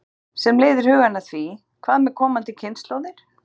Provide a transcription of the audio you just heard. Sem leiðir hugann að því: Hvað með komandi kynslóðir?